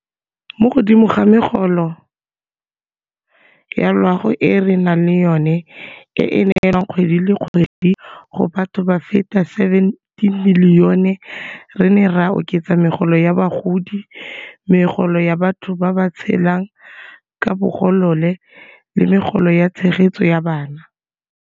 Mo godimo ga megolo ya loago e re nang le yona, e e neelwang kgwedi le kgwedi go batho ba feta ba le 17 milione, re ne ra oketsa Megolo ya Bagodi, Megolo ya batho ba ba Tshelang ka Bogolole le Megolo ya Tshegetso ya Bana.